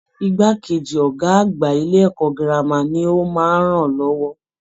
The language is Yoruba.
Igbákejì Ọgá àgbà ilé ẹ̀kọ́ gírámà ní o máa n rán lọwọ.